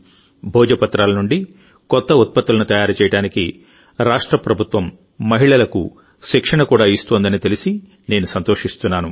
భోజపత్రాల నుండి కొత్త ఉత్పత్తులను తయారు చేయడానికి రాష్ట్ర ప్రభుత్వం మహిళలకు శిక్షణ కూడా ఇస్తోందని తెలిసి నేను సంతోషిస్తున్నాను